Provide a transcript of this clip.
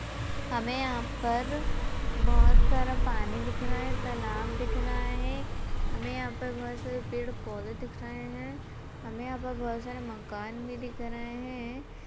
हमे यहाँ पर बोहत सारा पानी दिख रहा हैं तालाब दिख रहा हैं हमें यहाँ पर बोहत सारे पेड़ पौधे दिख रहे हैं हमें यहांपर बोहत सारे मकान भी दिख रहे हैं।